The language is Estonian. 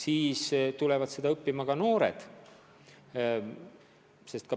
Siis tulevad seda õppima ka noored.